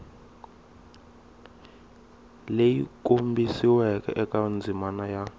leyi kombisiweke eka ndzimana ya